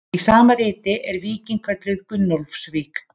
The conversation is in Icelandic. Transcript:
Í sama riti er víkin kölluð Gunnólfsvík.